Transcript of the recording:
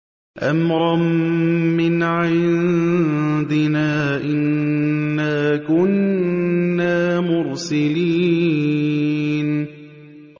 أَمْرًا مِّنْ عِندِنَا ۚ إِنَّا كُنَّا مُرْسِلِينَ